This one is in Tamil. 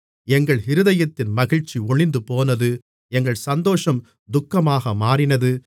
எங்கள் இருதயத்தின் மகிழ்ச்சி ஒழிந்துபோனது எங்கள் சந்தோஷம் துக்கமாக மாறினது